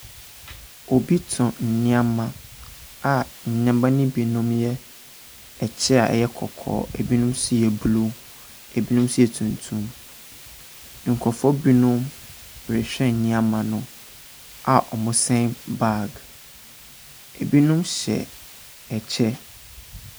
Obi tɔn nneɛma a nneɛma no binom yɛ ɛkyɛ a ɛyɛ kɔkɔɔ, ebinom nso yɛ blue, ebinom nso yɛ tuntum. Nkurɔfoɔ binom rehwɛ nneɛma no a wɔsɛn bag. Ebinom hyɛ kyɛ.